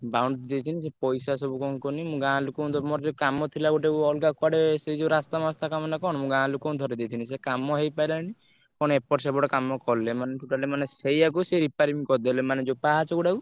Boundary ଦେଇଛନ୍ତି ସେ ପଇସା ସବୁ କଣ କୁହନି ମୁଁ ଗାଁ ଲୋକଙ୍କୁ ତମର କାମ ଥିଲା ଗୋଟେ ଅଲଗା କୁଆଡେ ସେଇ ଯୋଉ ରାସ୍ତା ମାସ୍ତା କାମ ନାଁ କଣ ମୁଁ ଗାଁ ଲୋକଙ୍କୁ ଧରେଇଦେଇଥିଲି ସେ କାମ ହେଇପାରିଲାନି କଣ ଏପଟ ସେପଟ କାମ କଲେ ମାନେ totally ସେଇଆକୁ ସିଏ repairing କରିଦେଲେ ମାନେ ଯୋଉ ପାହାଚ ଗୁଡ଼ାକୁ।